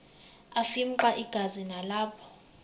afimxa igazi nalapho